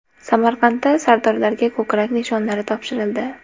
Samarqandda sardorlarga ko‘krak nishonlari topshirildi.